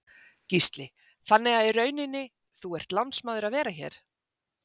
Gísli: Þannig að í rauninni, þú ert lánsmaður að vera hér?